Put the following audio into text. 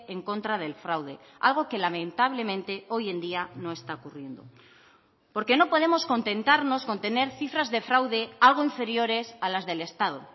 en contra del fraude algo que lamentablemente hoy en día no está ocurriendo porque no podemos contentarnos con tener cifras de fraude algo inferiores a las del estado